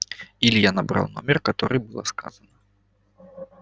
илья набрал номер который было сказано